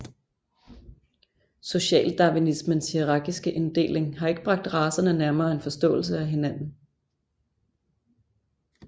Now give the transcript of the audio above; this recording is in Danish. Socialdarwinismens hierakiske inddeling har ikke bragt racerne nærmere en forståelse af hinanden